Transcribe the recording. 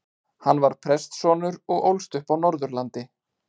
Hann var prestssonur og ólst upp á Norðurlandi.